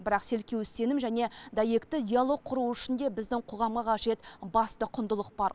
бірақ селкеусіз сенім және дәйекті диалог құру үшін де біздің қоғамға қажет басты құндылық бар